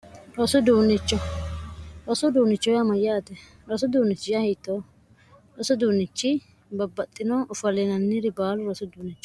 rosu uduunicho yaa mayyaate rosu Uduunichi yaa hiitoo rosu Uduunnichi babbaxxino ofalinanniri baalu rosu uduunichooti.